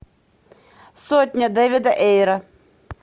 сотня дэвида эйра